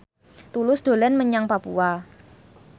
Tulus dolan menyang Papua